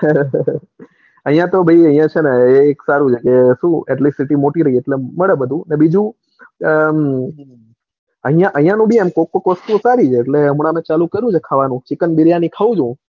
અહીંયા તો ભાઈ અહીંયા છે ને એક સારું છે કે city મોટી છે એટલે મળે બધું ને બીજું અહીંયા નું બી કોઈક કોઈક વસ્તુ સારું છે હમણાં મેં ચાલુ કરી છે કે ચિકન બિરિયાની ખાઉં છું.